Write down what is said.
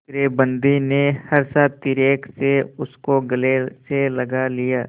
दूसरे बंदी ने हर्षातिरेक से उसको गले से लगा लिया